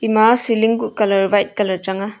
ema ceiling kuh colour white colour chang a.